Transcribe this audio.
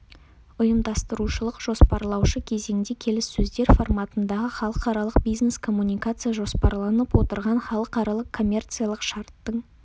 ұйымдастырушылық-жоспарлаушы кезеңде келіссөздер форматындағы халықаралық бизнес-коммуникация жоспарланып отырған халықаралық-коммерциялық шарттың